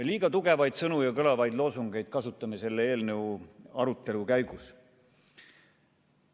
Liiga tugevaid sõnu ja kõlavaid loosungeid kasutame selle eelnõu arutelu käigus.